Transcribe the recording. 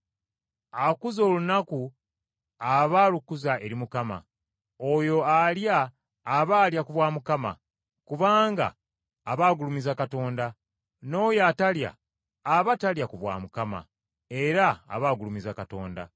Akuza olunaku aba alukuza eri Mukama. Oyo alya aba alya ku bwa Mukama, kubanga aba agulumiza Katonda. N’oyo atalya aba talya ku bwa Mukama, era aba agulumiza Katonda.